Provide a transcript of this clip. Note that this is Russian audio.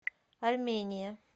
армения